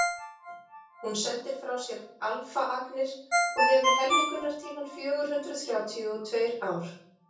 hún sendir frá sér alfaagnir og hefur helmingunartímann fjögur hundruð þrjátíu og tveir ár